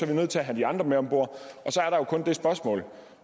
vi nødt til at have andre med om bord og kun det spørgsmål